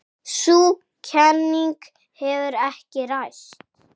Sú kenning hefur ekki ræst.